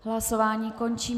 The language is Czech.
Hlasování končím.